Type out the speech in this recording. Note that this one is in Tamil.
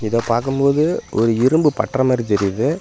இந்த பாக்கும்போது ஒரு இரும்பு பட்ற மாரி தெரியுது.